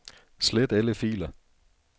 Slet alle filer.